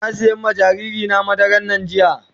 Na sim iya ma jariri na madaran NAN jiya.